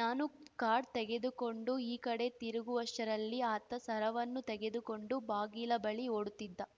ನಾನು ಕಾರ್ಡ್‌ ತೆಗೆದುಕೊಂಡು ಈ ಕಡೆ ತಿರುಗುವಷ್ಟರಲ್ಲಿ ಆತ ಸರವನ್ನು ತೆಗೆದುಕೊಂಡು ಬಾಗಿಲ ಬಳಿ ಓಡುತ್ತಿದ್ದ